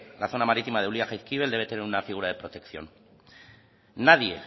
la zona marítima de ulia jaizkibel debe tener una figura de protección nadie